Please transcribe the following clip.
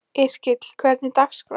Yrkill, hvernig er dagskráin?